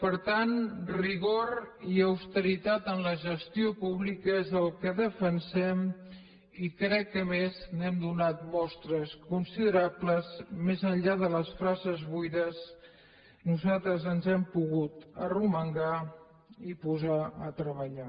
per tant rigor i austeritat en la gestió pública és el que defensem i crec que a més n’hem donat mostres considerables més enllà de les frases buides nosaltres ens hem pogut arremangar i posar a treballar